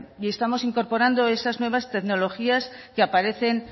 y estamos incorporando esa nuevas tecnologías que aparecen